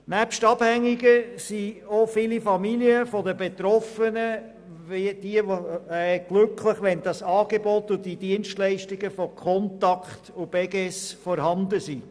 Nebst den Abhängigen sind auch viele Familien der Betroffenen glücklich, wenn das Angebot und die Dienstleistungen von Contact und Beges vorhanden sind.